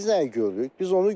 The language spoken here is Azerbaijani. Amma biz nəyi görürük?